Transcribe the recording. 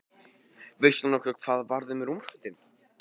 Veistu nokkuð hvað varð um rúmfötin?